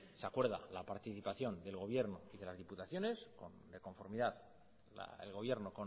se acuerda la participación del gobierno y de las diputaciones de conformidad el gobierno